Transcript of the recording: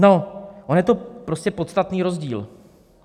No, on je to prostě podstatný rozdíl.